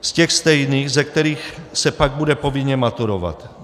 Z těch stejných, ze kterých se pak bude povinně maturovat.